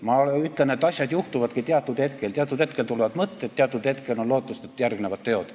Ma ütlen, et asjad juhtuvadki teatud hetkel, teatud hetkel tulevad mõtted, teatud hetkel on lootust, et järgnevad teod.